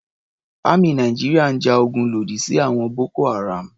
Àmì Nàìjíríà ń ja ogun lòdì sí àwọn Boko-Haram.